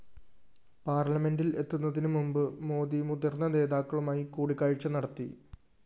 പാര്‍ലമെന്റില്‍ എത്തുന്നതിനു മുന്‍പ് മോദി മുതിര്‍ന്ന നേതാക്കളുമായി കൂടിക്കാഴ്ച നടത്തി